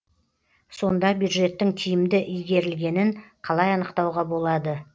сонда бюджеттің тиімді игерілгенін қалай анықтауға болады